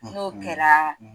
N'o kɛra